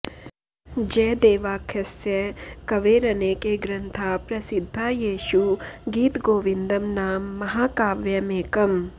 जयदेवाख्यस्य कवेरनेके ग्रन्था प्रसिद्धा येषु गीतगोविन्दं नाम महाकाव्यमेकम्